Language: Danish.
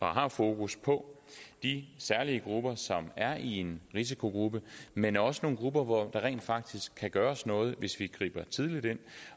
har fokus på de særlige grupper som er i en risiko men også nogle grupper hvor der rent faktisk kan gøres noget hvis vi griber tidligt ind